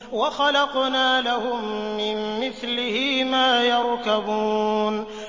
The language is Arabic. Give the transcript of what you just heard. وَخَلَقْنَا لَهُم مِّن مِّثْلِهِ مَا يَرْكَبُونَ